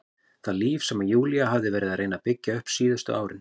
Það líf sem Júlía hafði verið að reyna að byggja upp síðustu árin.